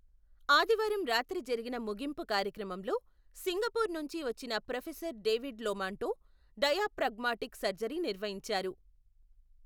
ఆదివారం రాత్రి జరిగిన ముగింపు కార్యక్రమంలో, సింగపూర్ నుంచి వచ్చిన professor David Lomanto, diaphragmatic surgery నిర్వహించారు.